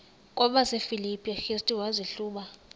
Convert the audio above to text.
kwabasefilipi restu wazihluba